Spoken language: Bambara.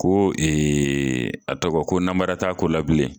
Ko a tɔgɔ ko namara t'a ko la bilen.